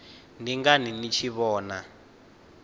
ndi ngani ni tshi vhona